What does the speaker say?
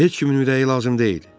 Heç kimin ürəyi lazım deyil.